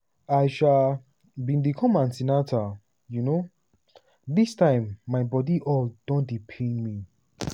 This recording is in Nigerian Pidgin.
"i um bin dey come an ten atal um dis time my body all don dey pain me